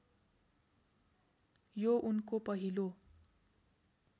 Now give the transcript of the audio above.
यो उनको पहिलो